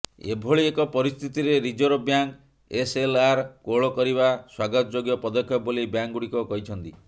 ଏଭଳି ଏକ ପରିସ୍ଥିତିରେ ରିଜର୍ଭ ବ୍ୟାଙ୍କ ଏସ୍ଏଲ୍ଆର୍ କୋହଳ କରିବା ସ୍ବାଗତଯୋଗ୍ୟ ପଦକ୍ଷେପ ବୋଲି ବ୍ୟାଙ୍କଗୁଡ଼ିକ କହିଛନ୍ତି